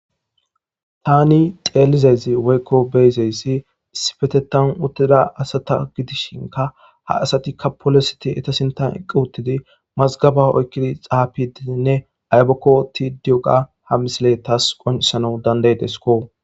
tani xeelizezi woykko beyzeyssi isipetetan uttida asata gidishinka ha asatikka polositi etasinta eqqu uttidi mazgaba oykkidi xaapi diinne aybakko ti diyoga ha misile taas qonisana danday desko